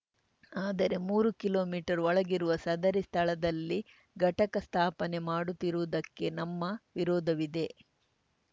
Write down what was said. ಆದರೆ ಮೂರು ಕಿಲೋಮೀಟರ್ ಒಳಗಿರುವ ಸದರಿ ಸ್ಥಳದಲ್ಲಿ ಘಟಕ ಸ್ಥಾಪನೆ ಮಾಡುತ್ತಿರುವುದಕ್ಕೆ ನಮ್ಮ ವಿರೋಧವಿದೆ